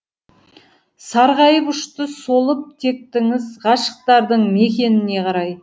сарғайып ұшты солып тектіңіз ғашықтардың мекеніне қарай